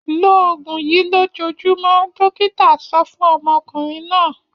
Lo òògùn yìí lójoojúmọ́! Dọ́kítá so fún ọmọkùnrin náà.